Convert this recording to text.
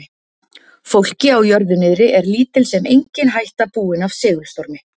Fólki á jörðu niðri er lítil sem engin hætta búin af segulstormi.